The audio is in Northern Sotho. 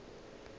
o ile ge a bona